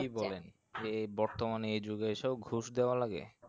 এ বর্তমানে এ যুগে এসব ঘুষ দেওয়া লাগে।